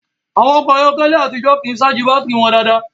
Àwọn ọkọ̀ ayé àtijó kìí ṣáàjì bátìrì wọn dáadáa